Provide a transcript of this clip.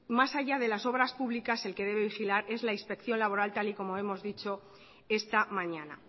más allá de las obras públicas el que debe vigilar es la inspección laboral tal y como hemos dicho esta mañana